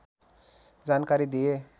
जानकारी दिए